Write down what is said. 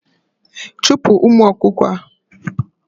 Chupu umu okuko a